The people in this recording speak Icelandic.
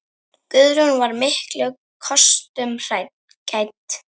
Guðrún var miklum kostum gædd.